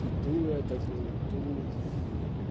иду я такой иду